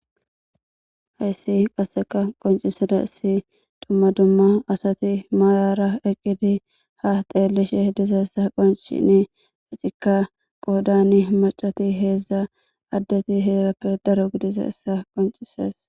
Hayssi qasseka qoncisada issi dumma dumma asati maayara eqqidi ha teellishe dizaessa qoncine ecikka qoodani macati heedzdza addati heerappe daro gidizaessa qoncisees